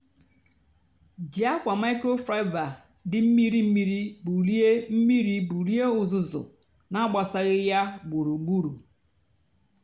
jí ákwa microfiber dị mmírí mmírí bulie mmírí bulie uzuzu nà-àgbasaghị yá gburugburu.